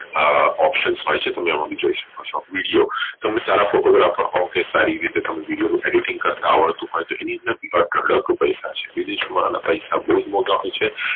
હા option હોઈ છે તમે એમાં જોઈ શકો ચો તમે સારા photographer હોવ કે સારા video editing કરતા આવડતું હોઈ તો એની અંદર અઢળક પૈસા છે વિદેશ વાળા ને પૈસા બોવ માલ્ટા હોઈ છે